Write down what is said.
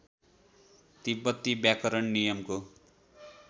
तिब्बती व्याकरण नियमको